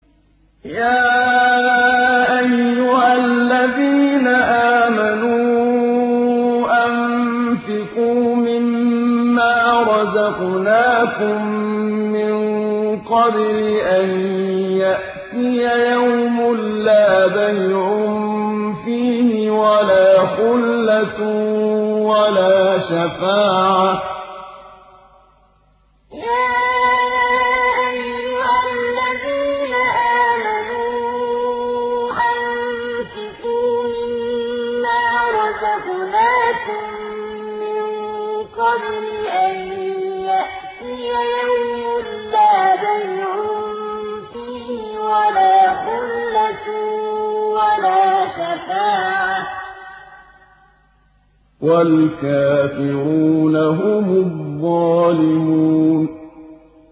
يَا أَيُّهَا الَّذِينَ آمَنُوا أَنفِقُوا مِمَّا رَزَقْنَاكُم مِّن قَبْلِ أَن يَأْتِيَ يَوْمٌ لَّا بَيْعٌ فِيهِ وَلَا خُلَّةٌ وَلَا شَفَاعَةٌ ۗ وَالْكَافِرُونَ هُمُ الظَّالِمُونَ يَا أَيُّهَا الَّذِينَ آمَنُوا أَنفِقُوا مِمَّا رَزَقْنَاكُم مِّن قَبْلِ أَن يَأْتِيَ يَوْمٌ لَّا بَيْعٌ فِيهِ وَلَا خُلَّةٌ وَلَا شَفَاعَةٌ ۗ وَالْكَافِرُونَ هُمُ الظَّالِمُونَ